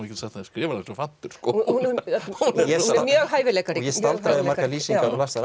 skrifar eins og fantur hún er mjög hæfileikarík ég staldraði við margar lýsingar og las þær